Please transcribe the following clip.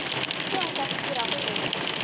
seo nka se dirago go